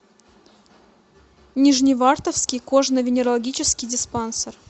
нижневартовский кожно венерологический диспансер